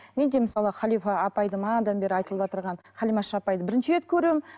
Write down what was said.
мен де мысалы халифа апайды манадан бері айтылып қалимаш апайды бірінші рет көруім